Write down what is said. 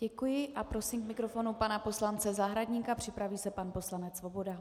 Děkuji a prosím k mikrofonu pana poslance Zahradníka, připraví se pan poslanec Svoboda.